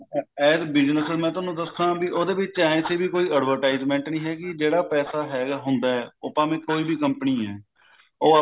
business ਮੈਂ ਤੁਹਾਨੂੰ ਦੱਸਾ ਵੀ ਉਹਦੇ ਵਿੱਚ ਐ ਸੀ ਵੀ ਕੋਈ advertisement ਨਹੀਂ ਹੈਗੀ ਜਿਹੜਾ ਪੈਸਾ ਹੈਗਾ ਹੁੰਦਾ ਉਹ ਭਾਵੇਂ ਕੋਈ ਵੀ company ਹੈ ਉਹ